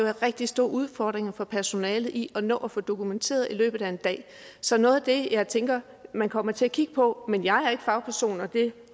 er rigtig store udfordringer for personalet i at nå at få det dokumenteret i løbet af en dag så noget af det jeg tænker at man kommer til at kigge på men jeg er ikke fagperson jeg